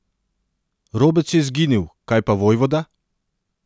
Robec je izginil, kaj pa vojvoda?